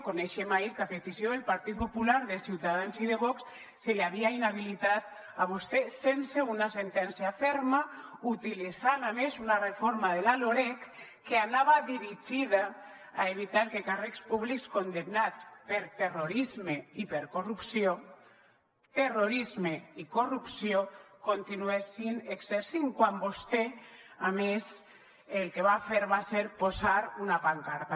coneixíem ahir que a petició del partit popular de ciutadans i de vox se l’havia inhabilitat a vostè sense una sentència ferma utilitzant a més una reforma de la loreg que anava dirigida a evitar que càrrecs públics condemnats per terrorisme i per corrupció terrorisme i corrupció continuessin exercint quan vostè a més el que va fer va ser posar una pancarta